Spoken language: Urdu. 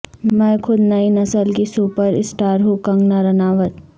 میں خود نئی نسل کی سپر اسٹارہوں کنگنا راناوت